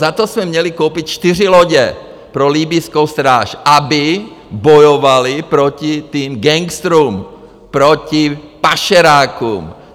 Za to jsme měli koupit čtyři lodě pro libyjskou stráž, aby bojovali proti těm gangsterům, proti pašerákům.